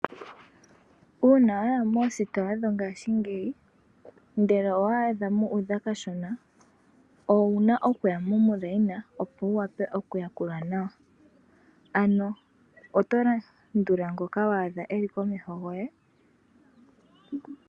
Uuna waya moositola dhongaashingeyi ngele owaadha muudha kashona, owuna okuya momukweyo opo wuwape okuyakulwa nawa , oto landula ngoka waadha komeho goye .